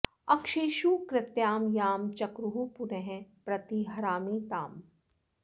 अक्षेषु कृत्यां यां चक्रुः पुनः प्रति हरामि ताम्